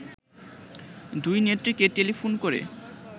দুই নেত্রীকে টেলিফোন করে